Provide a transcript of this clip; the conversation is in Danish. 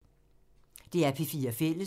DR P4 Fælles